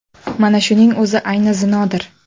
Mana shuning o‘zi ayni zinodir.